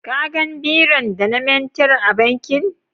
ka gan biron da na manter a bankin?